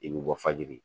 I bɛ bɔ fajiri